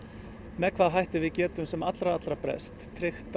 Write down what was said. með hvaða hætti við getum sem allra allra best tryggt